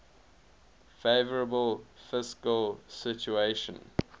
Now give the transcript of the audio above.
favourable fiscal situation